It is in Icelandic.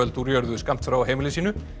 úr jörðu skammt frá heimili sínu